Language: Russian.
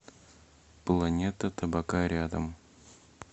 планета табака рядом